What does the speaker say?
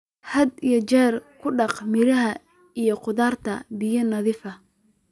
Had iyo jeer ku dhaq miraha iyo khudaarta biyo nadiif ah.